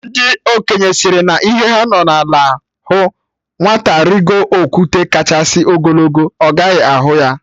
Ndị okenye sịrị na ihe ha nọ n'ala hụ, nwata rigo okwute kachasị ogologo, ọ gaghị ahụ ya